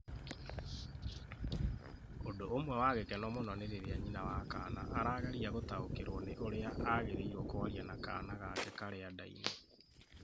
Ũndũ ũmwe wa gĩkeno mũno nĩ rĩrĩa nyina wa kaana arageria gũtaũkĩrũo nĩ ũrĩa agĩrĩirũo kwaria na kaana gake karĩa nda-inĩ.